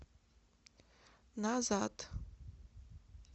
назад